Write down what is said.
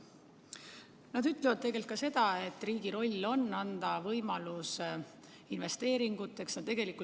Nad ütlevad tegelikult ka seda, et riigi roll on anda võimalus investeeringute tegemiseks.